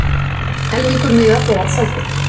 Helmingur miða þegar seldur